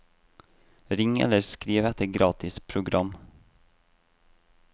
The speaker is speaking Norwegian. Ring eller skriv etter gratis program.